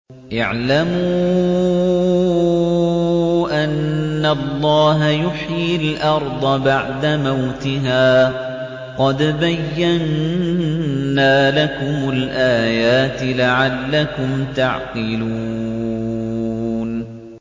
اعْلَمُوا أَنَّ اللَّهَ يُحْيِي الْأَرْضَ بَعْدَ مَوْتِهَا ۚ قَدْ بَيَّنَّا لَكُمُ الْآيَاتِ لَعَلَّكُمْ تَعْقِلُونَ